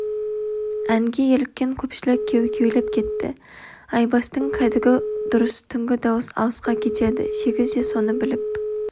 әнге еліккен көпшілік кеу-кеулеп кетті айбастың кәдігі дұрыс түнгі дауыс алысқа кетеді сегіз де соны біліп